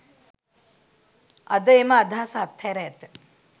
අද එම අදහස අත්හැර ඇත